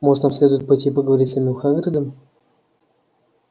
может нам следует пойти и поговорить с самим хагридом